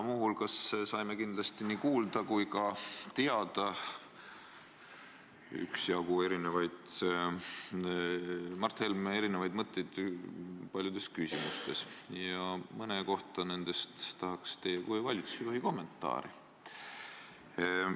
Saime kuulda üksjagu Mart Helme mõtteid paljudes küsimustes ja mõne kohta nendest tahaks teie kui valitsusjuhi kommentaari.